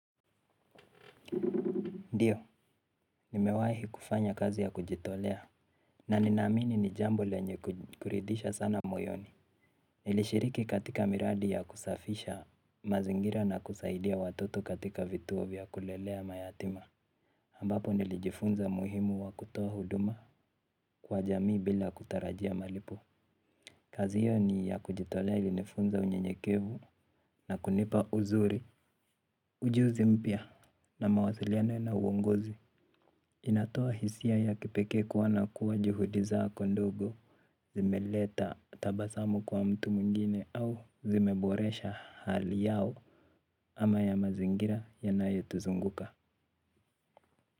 Ndiyo nimewahi kufanya kazi ya kujitolea na ninaamini ni jambo lenye kuridhisha sana moyoni. Nilishiriki katika miradi ya kusafisha mazingira na kusaidia watoto katika vituo vya kulelea mayatima. Ambapo nilijifunza umuhimu wa kutoa huduma kwa jamii bila kutarajia malipo. Kazi hiyo ni ya kujitolea ilinifunza unyenyekevu na kunipa uzuri. Ujuzi mpya na mawasiliano na uongozi inatoa hisia ya kipekee kuwa na kuwa juhudi zako ndogo zimeleta tabasamu kwa mtu mwingine au zimeboresha hali yao ama ya mazingira yanayotuzunguka.